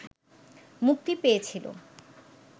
মুক্তি পেয়েছিল